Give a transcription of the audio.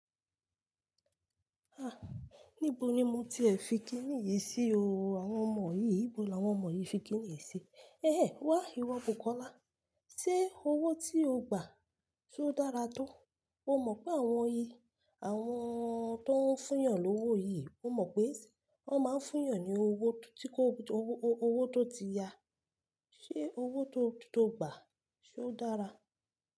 Ah! Níbo ni mo ti fi kíni yìí sí o? Àwọn ọmọ yìí, níbo ni àwọn ọmọ yìí fi kíni yìí sí? Ehen, wà ìwọ̀ búkọ́lá. Ṣé owó tí o gbà, ṣe ó dára tó? O mọ̀ pé àwọn yìí, àwọn tó ń fún yàn lówo yìí, o mọ̀ pé wọ́n máa ń fún yàn ní owó tó ti ya. Ṣé owó tó gba, ṣe ó dára?